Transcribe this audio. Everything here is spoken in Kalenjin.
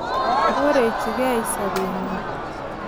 Korechigei sobetnywan.